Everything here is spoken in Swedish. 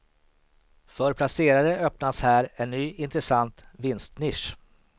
För placerare öppnas här en ny intressant vinstnisch.